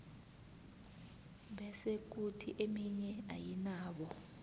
bese khuthi eminye ayinabo